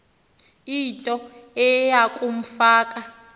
into eya kumfaka